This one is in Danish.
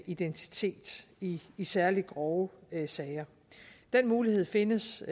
identitet i særligt grove sager den mulighed findes